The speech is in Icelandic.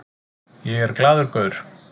Ég er glaður gaur.